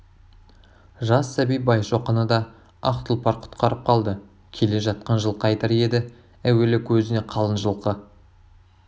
жас сәби байшоқыны да ақ тұлпар құтқарып қалды келе жатқан жылқайдар еді әуелі көзіне қалың жылқы